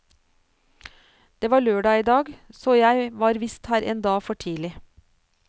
Det var lørdag i dag, så jeg var visst her en dag for tidlig.